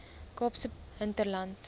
kaapse hinterland